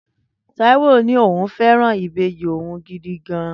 Taiwo ní òun fẹ́ràn ìbejì òun gidi gan-an